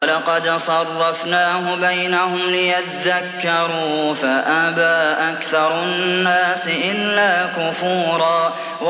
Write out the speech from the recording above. وَلَقَدْ صَرَّفْنَاهُ بَيْنَهُمْ لِيَذَّكَّرُوا فَأَبَىٰ أَكْثَرُ النَّاسِ إِلَّا كُفُورًا